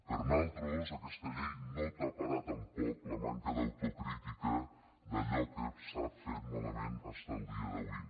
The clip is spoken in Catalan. per nosaltres aquesta llei no taparà tampoc la manca d’autocrítica d’allò que s’ha fet malament fins al dia d’avui